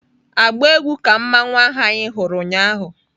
agba egwu ka mmanwu ahụ anyị hụrụ ụnyaahụ!